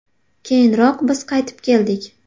Keyinroq biz qaytib keldik.